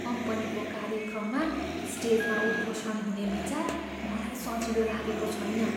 कम्पनीको कार्यक्रममा स्टेजमा उद्घोषण हुने विचार मलाई सजिलो लागेको छैन।